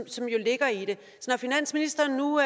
finansministeren nu